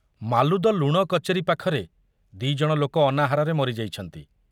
ମାଲୁଦ ଲୁଣ କଚେରୀ ପାଖରେ ଦି ଜଣ ଲୋକ ଅନାହାରରେ ମରିଯାଇଛନ୍ତି।